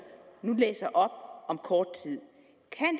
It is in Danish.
nu læser op om kort tid